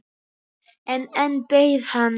En enn beið hann.